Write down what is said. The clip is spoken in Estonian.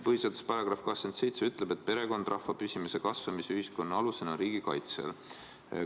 Põhiseaduse § 27 ütleb, et perekond rahva püsimise ja kasvamise ning ühiskonna alusena on riigi kaitse all.